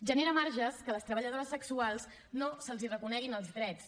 genera marges que a les treballadores sexuals no se’ls reconeguin els drets